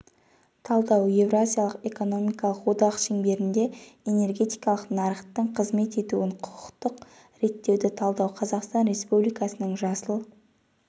талдау евразиялық экономикалық одақ шеңберінде энергетикалық нарықтың қызмет етуін құқықтық реттеуді талдау қазақстан республикасының жасыл